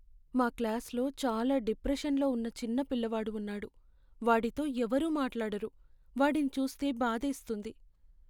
మా క్లాస్లో చాలా డిప్రెషన్లో ఉన్న చిన్న పిల్లవాడు ఉన్నాడు, వాడితో ఎవరూ మాట్లాడరు. వాడిని చూస్తే బాధేస్తుంది.